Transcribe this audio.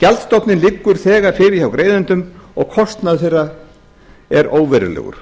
gjaldstofninn liggur þegar fyrir hjá greiðendum og kostnaður þeirra er óverulegur